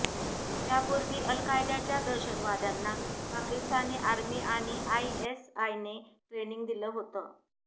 त्यापूर्वी अल कायदाच्या दहशतवाद्यांना पाकिस्तानी आर्मी आणि आयएसआयने ट्रेनिंग दिलं होतं